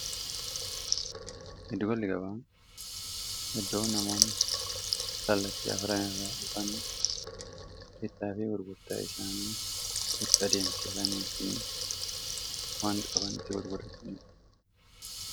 giddugalli gabaa iddoo namoonni kaallattii afran irraa kan bittaa fii gurgurtaa isaanii itti adeemsifatanii fi waan qaban itti gurguratiidha.